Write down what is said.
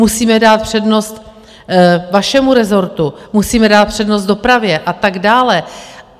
Musíme dát přednost vašemu rezortu, musíme dát přednost dopravě a tak dále.